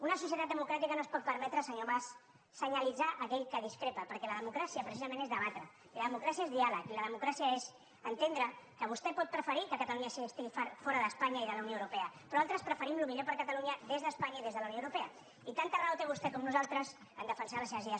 una societat democràtica no es pot permetre senyor mas senyalitzar aquell que discrepa perquè la democràcia precisament és debatre i la democràcia és diàleg i la democràcia és entendre que vostè pot preferir que catalunya estigui fora d’espanya i de la unió europea però altres preferim el millor per a catalunya des d’espanya i des de la unió europea i tanta raó té vostè com nosaltres a defensar les seves idees